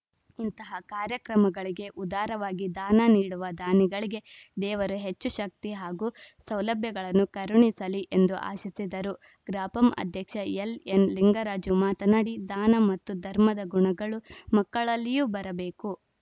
ಇಂತಹ ಕಾರ್ಯಕ್ರಮಗಳಿಗೆ ಉದಾರವಾಗಿ ದಾನ ನೀಡುವ ದಾನಿಗಳಿಗೆ ದೇವರು ಹೆಚ್ಚು ಶಕ್ತಿ ಹಾಗೂ ಸೌಲಭ್ಯಗಳನ್ನು ಕರುಣಿಸಲಿ ಎಂದು ಆಶಿಸಿದರು ಗ್ರಾಪಂ ಅಧ್ಯಕ್ಷ ಎಲ್‌ಎನ್‌ಲಿಂಗರಾಜು ಮಾತನಾಡಿ ದಾನ ಮತ್ತು ಧರ್ಮದ ಗುಣಗಳು ಮಕ್ಕಳಲ್ಲಿಯೂ ಬರಬೇಕು